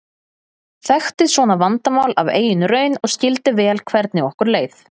Þekkti svona vandamál af eigin raun og skildi vel hvernig okkur leið.